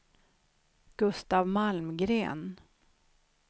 Gustaf Malmgren